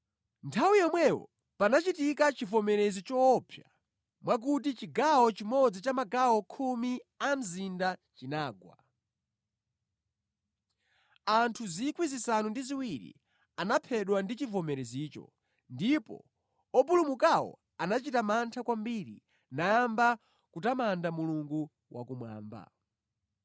Nthawi yomweyo panachitika chivomerezi choopsa mwakuti chigawo chimodzi cha magawo khumi a mzinda chinagwa. Anthu 7,000 anaphedwa ndi chivomerezicho, ndipo opulumukawo anachita mantha kwambiri nayamba kutamanda Mulungu wakumwamba.